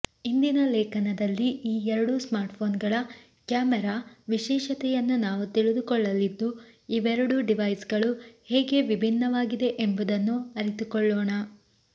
ಇಂದಿನ ಲೇಖನದಲ್ಲಿ ಈ ಎರಡೂ ಸ್ಮಾರ್ಟ್ಫೋನ್ಗಳ ಕ್ಯಾಮೆರಾ ವಿಶೇಷತೆಯನ್ನು ನಾವು ತಿಳಿದುಕೊಳ್ಳಲಿದ್ದು ಇವೆರಡೂ ಡಿವೈಸ್ಗಳು ಹೇಗೆ ವಿಭಿನ್ನವಾಗಿದೆ ಎಂಬುದನ್ನು ಅರಿತುಕೊಳ್ಳೋಣ